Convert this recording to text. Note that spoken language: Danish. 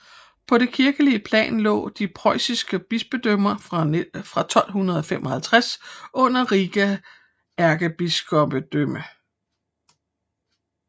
På det kirkelige plan lå de preussiske bispedømmer fra 1255 under Riga ærkebispedømme